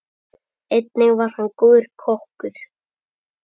Einnig var hann góður kokkur.